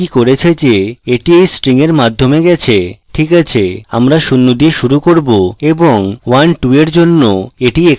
এটি কি করেছে যে এটি এই string এর মাধ্যমে গেছে ঠিক আছে আমরা শূন্য দিয়ে শুরু করব ​এবং 12 এর জন্য এটি এখানে echo করব